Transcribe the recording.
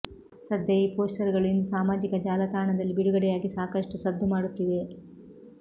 ಸದ್ಯ ಈ ಪೋಸ್ಟರ್ ಗಳು ಇಂದು ಸಾಮಾಜಿಕ ಜಾಲತಾಣದಲ್ಲಿ ಬಿಡುಗಡೆಯಾಗಿ ಸಾಕಷ್ಟು ಸದ್ದು ಮಾಡುತ್ತಿವೆ